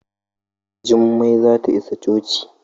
Jummai za ta isa coci.